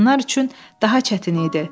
Qadınlar üçün daha çətin idi.